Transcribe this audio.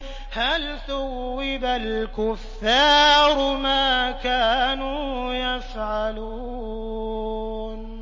هَلْ ثُوِّبَ الْكُفَّارُ مَا كَانُوا يَفْعَلُونَ